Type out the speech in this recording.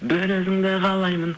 бір өзіңді қалаймын